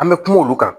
An bɛ kuma olu kan